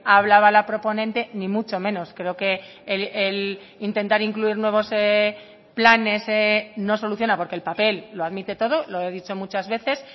hablaba la proponente ni mucho menos creo que el intentar incluir nuevos planes no soluciona porque el papel lo admite todo lo he dicho muchas veces